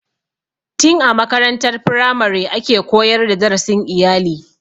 Tin a makarantar firamare ake koyar da darasin iyali.